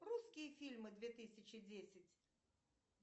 русские фильмы две тысячи десять